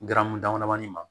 Garamu damadamanin ma